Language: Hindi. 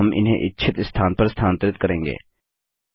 अब हम इन्हें इच्छित स्थान पर स्थानांतरित करेंगे